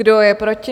Kdo je proti?